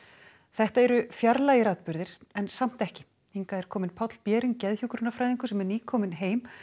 þetta eru fjarlægir atburðir en samt ekki hingað er kominn Páll sem er nýkominn heim